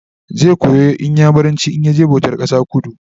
zai koyi inyamuranci in ya je bautan kasa a kudu